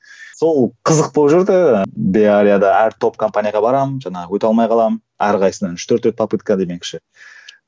сол қызық болып жүрді беарияда әр топ компанияларға барамын жаңағы өте алмай қаламын әр қайсысысынан үш төрт рет попытка демекші